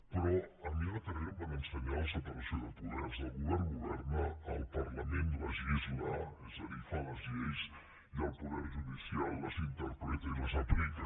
però a mi a la carrera em van ensenyar la separació de poders el govern governa el parlament legisla és a dir fa les lleis i el poder judicial les interpreta i les aplica